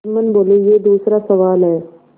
जुम्मन बोलेयह दूसरा सवाल है